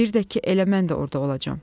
Bir də ki, elə mən də orada olacağam.